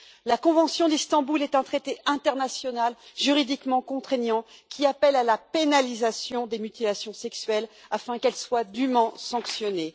La convention d'Istanbul est un traité international juridiquement contraignant qui appelle à la pénalisation des mutilations sexuelles afin qu'elles soient dûment sanctionnées.